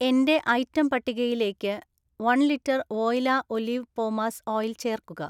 എന്‍റെ ഐറ്റം പട്ടികയിലേക്ക് ഒരു ലിറ്റർ വോയില ഒലിവ് പോമാസ് ഓയിൽ ചേർക്കുക